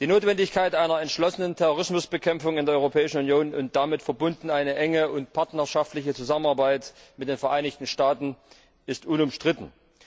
Die Notwendigkeit einer entschlossenen Terrorismusbekämpfung in der Europäischen Union und damit verbunden eine enge und partnerschaftliche Zusammenarbeit mit den Vereinigten Staaten ist unumstritten.